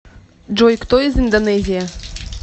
джой кто из индонезия